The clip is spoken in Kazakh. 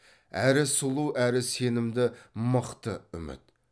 әрі сұлу әрі сенімді мықты үміт